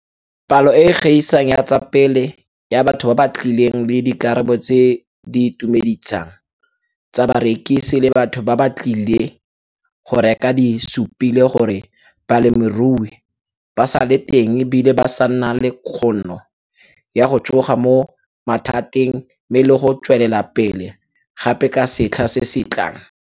Palo e e gaisang tsa pele ya batho ba ba tlileng le dikarabo tse di itumeditsang tsa barekisi le batho ba ba tlileng go reka di supile gore balemirui ba sa le teng e bile ba sa na le kgono ya go tsoga mo mathateng mme le go tswelela pele gape ka setlha se se tlaang.